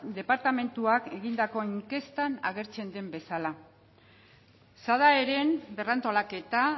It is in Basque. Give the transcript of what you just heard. departamentuak egindako inkestan agertzen den bezala sadaeren berrantolaketa